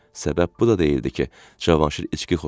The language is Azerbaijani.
Səbəb bu da deyildi ki, Cavanşir içki xoşlayırdı.